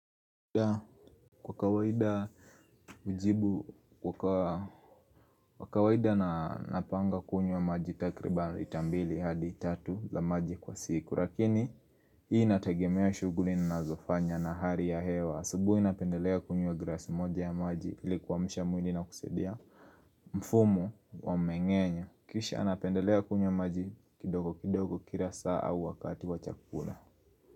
Kwa kawaida ujibu kwa kawaida na napanga kunywa maji takribani lita mbili hadi tatu la maji kwa siku lakini hii natagemea shughuli na nazofanya na hali ya hewa asubuhi napendelea kunywa glasi moja ya maji ili kuamsha mwili na kusadia mfumo wa mmeng'enyo kisha napendelea kunywa maji kidogo kidogo kila saa au wakati wachakula.